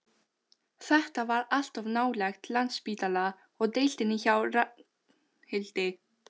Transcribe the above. Þetta var allt of nálægt Landspítala og deildinni hjá Ragnhildi.